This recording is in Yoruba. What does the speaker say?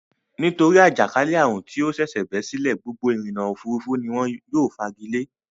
Nítorí àjàkálẹ́ àrùn tí ó ṣẹ̀ṣẹ̀ bẹ́ sílẹ̀ gbogbo ìrìnnà-òfurufú ni wọ́n yóò fagilé.